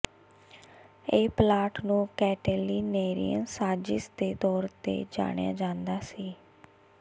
ਇਹ ਪਲਾਟ ਨੂੰ ਕੈਟੀਲੀਨੇਰੀਅਨ ਸਾਜ਼ਿਸ਼ ਦੇ ਤੌਰ ਤੇ ਜਾਣਿਆ ਜਾਂਦਾ ਸੀ